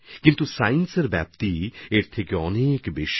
কিন্তু বিজ্ঞানের বিস্তৃতি তো এর থেকে অনেক বেশি